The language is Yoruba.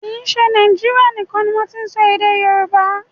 Kì í ṣe Nàíjírìa nìkan ni wọ́n ti n sọ èdè Yorùbá.